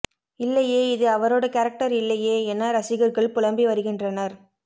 இல்லையே இது அவரோட கேரக்டர் இல்லையே என ரசிகர்கள் புலம்பி வருகின்றனர்